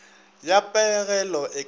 ya pegelo e ka fiwago